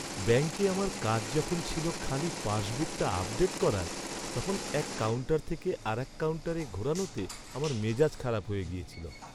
ব্যাংকে আমার কাজ যখন ছিল খালি পাসবুকটা আপডেট করার, তখন এক কাউন্টার থেকে আরেকটা কাউন্টারে ঘোরানোতে আমার মেজাজ খারাপ হয়ে গেছিল।